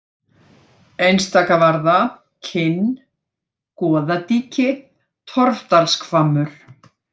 Einstakavarða, Kinn, Goðadýki, Torfdalshvammmur